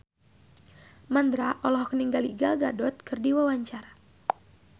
Mandra olohok ningali Gal Gadot keur diwawancara